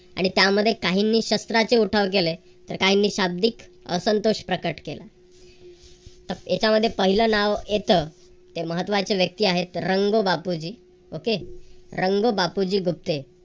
आणि त्यामध्ये काही मी शस्त्राचे उठाव केले तर काहींनी शाब्दिक असंतोष प्रकट केला. तर याच्या मध्ये पहिला नाव येतं. हे महत्त्वाचे व्यक्ती आहेत. रंग बापूजी. okay रंगो बापूजी गुप्ते